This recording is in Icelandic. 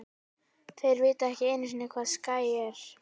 Þeir vita ekki einusinni hvað Skyr ER?!